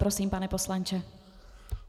Prosím, pane poslanče.